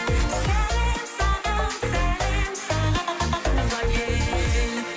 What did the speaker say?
сәлем саған сәлем саған туған ел